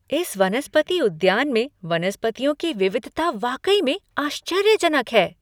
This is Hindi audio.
इस वनस्पति उद्यान में वनस्पतियों की विविधता वाकई में आश्चर्यजनक है!